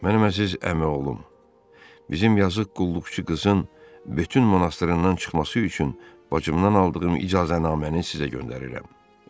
Mənim əziz əmi oğlum, bizim yazıq qulluqçu qızın bütün monastrından çıxması üçün bacımdan aldığım icazənaməni sizə göndərirəm.